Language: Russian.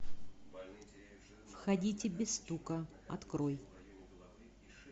входите без стука открой